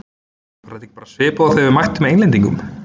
Var þetta ekki bara svipað og þegar við mættum Englendingunum?